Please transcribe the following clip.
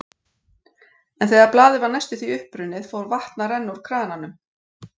En þegar blaðið var næstum því uppbrunnið, fór vatn að renna úr krananum.